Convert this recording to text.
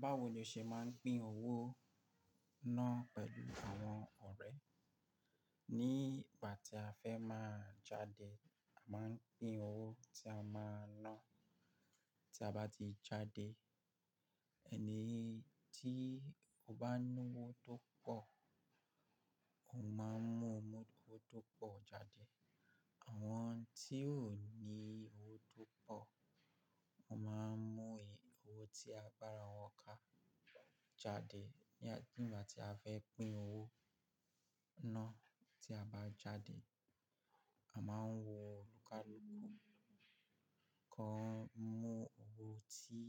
Báwo ni o ṣe máa ń pín owó náà pẹ̀lú àwọn ọ̀rẹ́? Ní ìgbà tí a fẹ́ máa jáde, a máa ń pín owó tí a máa ná tí a bá ti jáde. Ẹni tí ó bá ní owó tó pọ̀ ó máa ń mú owó tó pọ̀ jáde. Awon ti o ni owo to poo, won maa n mu owo ti agbara won ka jade. Ní ìgbà tí a fẹ́ pín owó náà tí a bá jáde, a máa ń wo olukàluku kàn mú owó tí